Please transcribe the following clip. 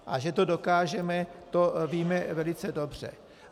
A že to dokážeme, to víme velice dobře.